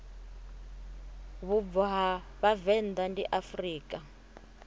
vhubvo ha vhavenḓa ndi afrika